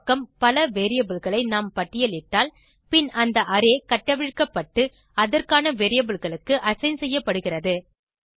இடப்பக்கம் பல variableகளை நாம் பட்டியலிட்டால் பின் அந்த அரே கட்டவிழ்க்கப்பட்டு அதற்கான variableகளுக்கு அசைன் செய்யப்படுகிறது